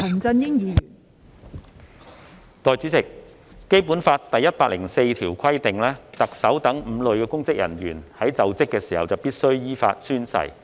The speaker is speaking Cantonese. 代理主席，《基本法》第一百零四條規定特首等5類公職人員在就職時必須依法宣誓。